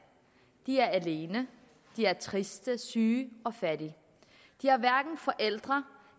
de er alene de er triste syge og fattige de har hverken forældre